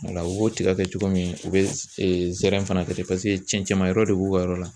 Wala u b'o tiga kɛ cogo min u bɛ zɛrɛn fana kɛ ten paseke cɛncɛnma yɔrɔ de b'u ka yɔrɔ la.